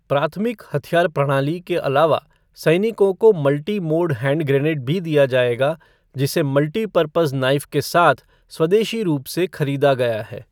प्राथमिक हथियार प्रणाली के अलावा सैनिकों को मल्टी मोड हैंड ग्रेनेड भी दिया जाएगा, जिसे मल्टीपरपज़ नाइफ़ के साथ स्वदेशी रूप से खरीदा गया है।